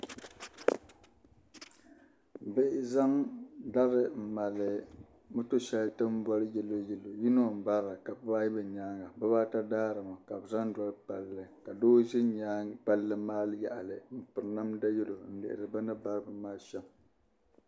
Bihi zandari n mali moto shɛli tin boli yɛloyɛlo yiŋɔ n barili ka bɛ baa ayibu nyaanŋa bɛ baa ata daarimi ka bɛ zaŋ doli palli ka doo ʒɛ nyaanŋa palli maa yaɣili n piri namda yelo n lihiri bɛni bari bin maa shɛm'